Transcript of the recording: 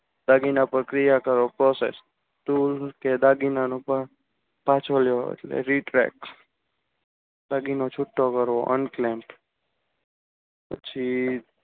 દાગીના પ્રક્રિયા કરો process tool કે દાગીના નું પણ પાછું લો પ્રક્રિયા એટલે retrack દાગીનો છૂટો કરવો. unclaim અને પછી